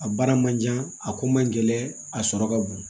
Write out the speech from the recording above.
A baara man ca a ko man gɛlɛn a sɔrɔ ka bon